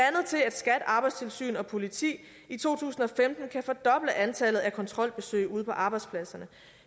skat arbejdstilsynet og politiet i to tusind og femten kan fordoble antallet af kontrolbesøg ude på arbejdspladserne